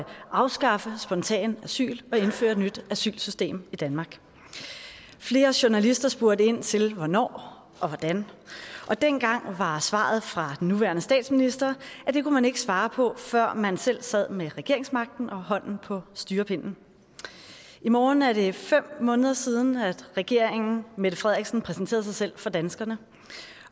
afskaffe spontant asyl og indføre et nyt asylsystem i danmark flere journalister spurgte ind til hvornår og hvordan og dengang var svaret fra den nuværende statsminister at det kunne man ikke svare på før man selv sad med regeringsmagten og hånden på styrepinden i morgen er det fem måneder siden at regeringen mette frederiksen præsenterede sig selv for danskerne